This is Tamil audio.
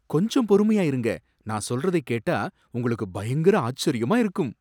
கொஞ்சம் பொறுமையா இருங்க, நான் சொல்றதைக் கேட்டா உங்களுக்கு பயங்கர ஆச்சரியமா இருக்கும்.